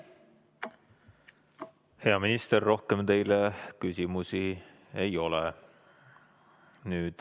Hea minister, rohkem teile küsimusi ei ole.